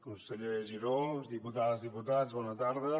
conseller giró diputades i diputats bona tarda